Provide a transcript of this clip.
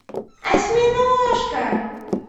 осьминожка